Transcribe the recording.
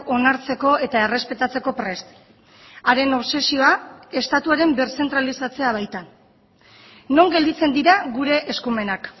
onartzeko eta errespetatzeko prest haren obsesioa estatuaren birzentralizatzea baita non gelditzen dira gure eskumenak